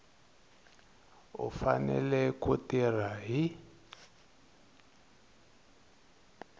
u fanele ku tirha hi